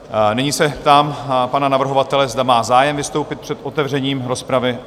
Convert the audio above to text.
Nyní se ptám pana navrhovatele, zda má zájem vystoupit před otevřením rozpravy?